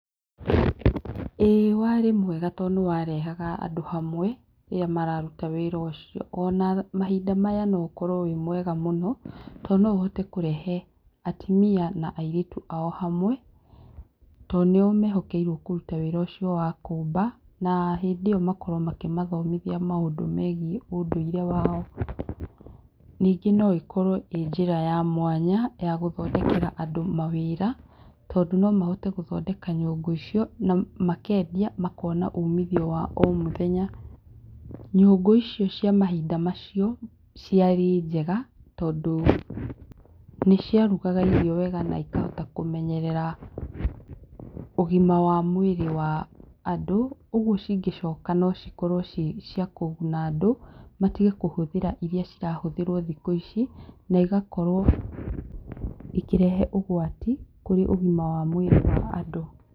Ĩĩ wa rĩ mwega tondũ nĩ warehaga andũ hamwe rĩrĩa mararuta wĩra ũcio ona mahinda maya no ũkorwo ũrĩ mwega mũno tondũ no ũhote kũrehe atumia na airltu ao hamwe tondũ nĩo mehokeirwo kũruta wĩra ũcio wa kũmba na hĩndĩ ĩyo makorwo makĩmathomithia maũndũ megiĩ ũndũire wao, ningĩ no ĩkorwo ĩrĩ njĩra ya mwanya ya gũthondekera andũ mawĩra tondũ no mahote gũthondeka nyũngũ icio na mekindia makona ũmithio wa o mũthenya, nyũngũ icio cia mahinda macio ciarĩ njega, tondũ nĩ cia rugaga irio wega na ikahota kũmenyerera ũgima mwega wa mwĩrĩ wa andũ ũguo cingĩcoka no cikorwo ciĩ cia kũguna andũ tũtige kũhũthĩra iria irahũthĩrwo thikũ ici, na igakorwo ikĩrehe ũgwati kũrĩ igama wa mwĩrĩ wa andũ.